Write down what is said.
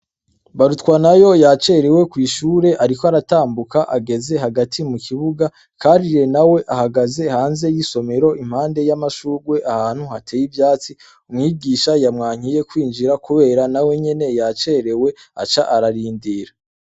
Barutwanayo yacerewe kwishuri ariko aratambuka ageze hagati mu kibuga Karire nawe ahagaze hanze yisomero impande yamashurwe ahantu hateye ivyatsi mwigisha yamwankiye kwinjira kubera nawe nyene yacerewe aca ararindira .